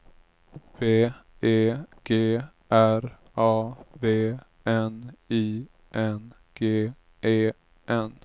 B E G R A V N I N G E N